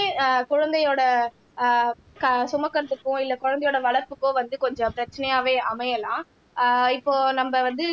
ஆஹ் குழந்தையோட ஆஹ் க சுமக்கறதுக்கோ இல்லை குழந்தையோட வளர்ப்புக்கோ வந்து கொஞ்சம் பிரச்சனையாவே அமையலாம் ஆஹ் இப்போ நம்ம வந்து